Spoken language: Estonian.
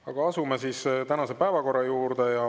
Aga asume siis tänase päevakorra juurde.